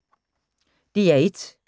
DR1